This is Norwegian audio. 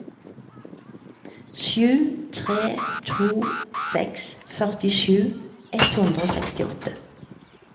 sju tre to seks førtisju ett hundre og sekstiåtte